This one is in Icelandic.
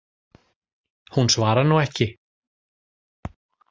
Hún svarar nú ekki.